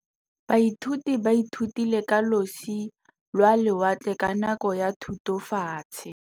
Baithuti ba ithutile ka losi lwa lewatle ka nako ya Thutafatshe.